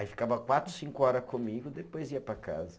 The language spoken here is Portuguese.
Aí ficava quatro, cinco horas comigo, depois ia para casa.